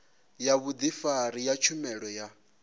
ya vhudifari ya tshumelo ya